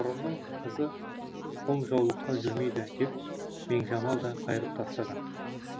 мұрынның қызы қол жаулыққа жүрмейді деп меңжамал да қайырып тастады